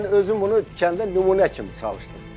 Mən özüm bunu kəndə nümunə kimi çalışdım.